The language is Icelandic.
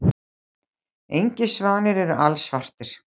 Engir svanir eru alsvartir.